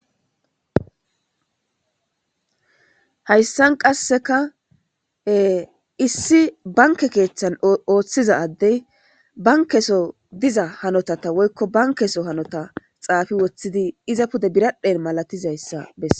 Hayssan qasseka issi banke keeththan ooththiza addey bankeso diza hanota ta woykko bankeso hanota xaafi woththidi iza pude biradhen malatizayssa besse.